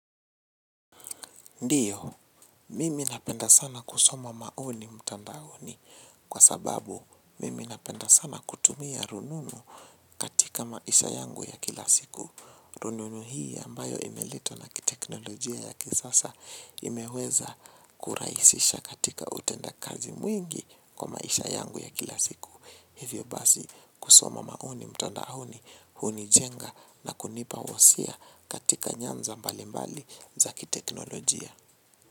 Ndiyo, mimi napenda sana kusoma maoni mtandaoni kwa sababu mimi napenda sana kutumia rununu katika maisha yangu ya kila siku. Rununu hii ambayo imeletwa na kiteknolojia ya kisasa imeweza kurahisisha katika utendakazi mwingi kwa maisha yangu ya kila siku. Hivyo basi kusoma maoni mtandaoni hunijenga na kunipa wasia katika nyanza mbalimbali za kiteknolojia.